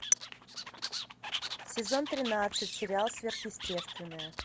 сезон тринадцать сериал сверхъестественное